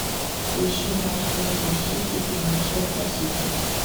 поищи матч между сити и манчестер сити